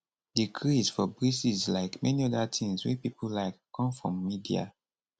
di craze for braces like many oda tins wey pipo like come from media